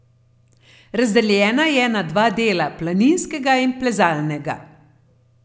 Razdeljena je na dva dela, planinskega in plezalnega.